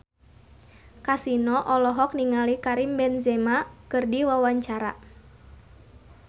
Kasino olohok ningali Karim Benzema keur diwawancara